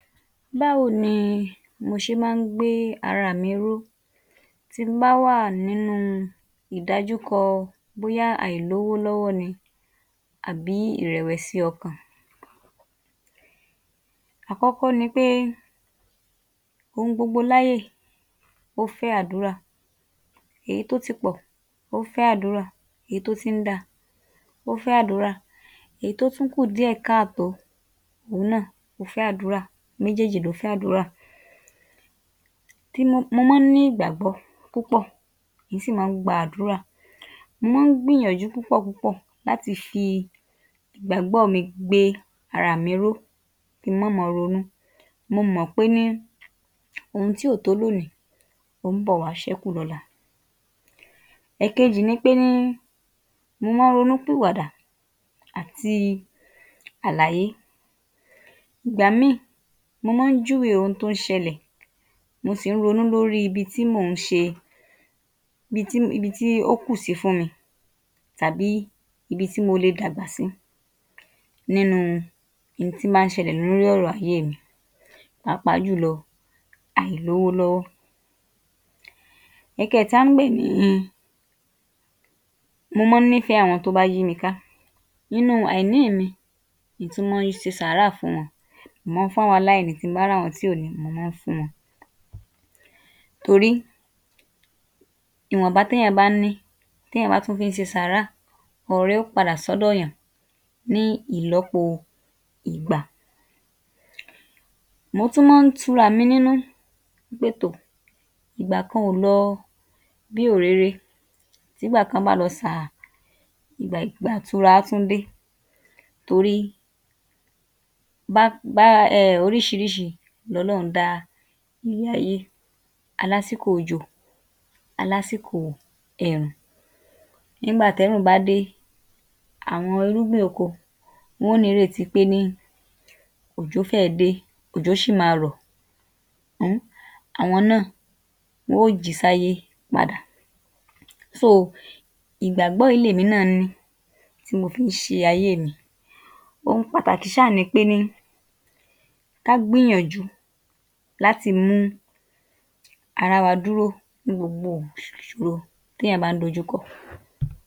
Báwo ni mo ṣe máa ń gbé ara mi ró tí mo bá wà nínú ìdájúkọ bóyá àìlówó-lọ́wọ́ ni àbí ìrẹ̀wẹ̀sí ọkàn? Akọ́kọ́ ni pé ohun gbogbo láyé yìí, ó fẹ́ àdúrà, èyí tó ti pọ̀, ó fẹ́ àdúrà, èyí tó tí ń da, ó fẹ́ àdúrà, èyí tó tún kù díẹ̀ káàtó, òhun náà, ó fẹ́ àdúrà, méjéèjì ló fẹ́ àdúrà. mo mọ́ ń ní ìgbàgbọ́ púpọ̀, mìí sì mọ́ ń gba àdúrà, mo mọ́ ń gbìyànjú púpọ̀ púpọ̀ láti fi ìgbàgbọ́ọ̀ mi gbé araà mi ró, kí n mọ́ mọ ronú. Mo mọ̀ pé ní ohun tí ò tó lónìí, ó ń́ bọ̀ wá ṣẹ́kù lọ́la. Ẹ̀kejì ni pé ni mo mọ́ ń ronú pìwàdà àti àlàyé. Ìgbà míì, mo mọ́ ń júwe ohun tó ṣẹlẹ̀, mo sì ń ronú lórí ibi tí mò ń ṣe, ibi tí ibi tí ó kù sí fún mi tàbí ibi tí mo le dàgbà sí nínúu ihun tí bá ń ṣẹlẹ̀ lórí ọ̀rọ̀ ayéè mi pàápàá jùlọ àìlówó-lọ́wọ́. Ẹ̀kẹẹ̀ta ń gbè ni, mo mọ́ ń nífẹ̀ẹ́ àwọn tí ó bá yí mi ká. Nínú àìní mi ni mo ti mọ́ ń ṣe sàárà fún wọn, mo mọ́ ń fún àwọn aláìní, tí mo bá ráwọn tí kò ní, mo mọ́ ń fún wọn. Torí ìwọ̀nba téèyàn bá ní, téèyàn bá tún fí ń ṣe sàárà, ọrẹ óò padà sọ́dọ̀ èèyàn ní ìlọ́po ìgbà. Mo tún mọ́ ń turaà mi nínú pe "tò! Ìgbà kan ò lọ bí òréré, tígbà kan bá lọ sàà, ìgbà ìgbà ìtura á tún dé " torí um oríṣiríṣi lọlọ́run dá ilé-ayé, a lásìkò òjò, a lásìkò ẹ̀rùn. Nígbà tẹ́rùn bá dé, àwọn irúgbìn oko, wọ́n ó nírètí pé ni òjò fẹ́ẹ̀ dé, òjò ṣì máa rọ̀ um, awọn náà wọ́n ó jí sáyé padà. ìgbàgbọ́ yìí lèmi náà ní, tí mo fi ṣe ayéè mi. Ohun pàtàkì ṣáà ni pé ní ká gbìyànjú láti mú ara wa dúró ní gbogbo ìṣòro téèyàn bá ń dojúkọ.